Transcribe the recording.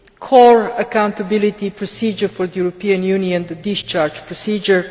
core accountability procedure for the European Union the discharge procedure.